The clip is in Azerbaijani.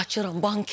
Qaçıram banketə.